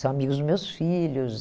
São amigos dos meus filhos.